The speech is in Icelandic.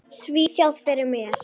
Svíþjóð fyrir mér.